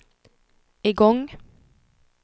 igång